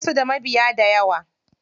Basu da mabiya dayawa.